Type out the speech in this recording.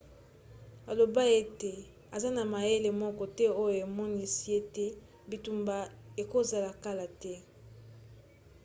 alobai ete aza na mayele moko te oyo emonisi ete bitumba ekozala kala te